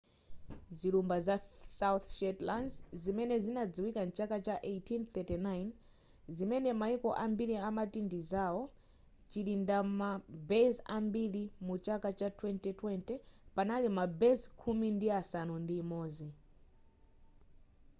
zilumba za south shetlands zimene zinadziwika mchaka cha 1839 zimene maiko ambiri amati ndizao chilindima base ambiri muchaka cha 2020 panali ma base khumi ndi asanu ndi imodzi